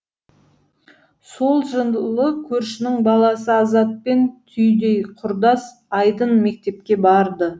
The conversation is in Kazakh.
сол жылы көршінің баласы азатпен түйдей құрдас айдын мектепке барды